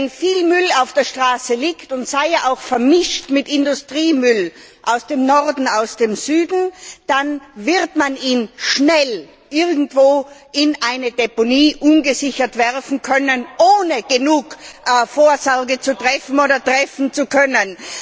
Wenn viel Müll auf der Straße liegt, und sei er auch vermischt mit Industriemüll aus dem Norden, aus dem Süden, dann wird man ihn schnell irgendwo ungesichert in eine Deponie werfen können, ohne genug Vorsorge zu treffen oder treffen zu können.